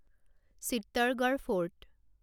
Chittorgarh fort